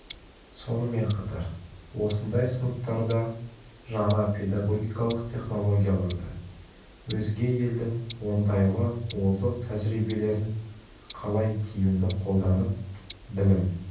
сонымен қатар осындай сыныптарда жаңа педагогикалық технологияларды өзге елдің оңтайлы озық тәжірибелерін қалай тиімді қолданып білім